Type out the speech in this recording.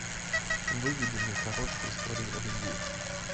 выведи мне короткие истории о любви